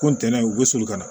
Ko ntɛnɛn u bɛ soli ka na